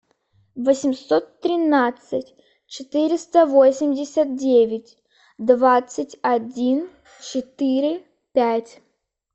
восемьсот тринадцать четыреста восемьдесят девять двадцать один четыре пять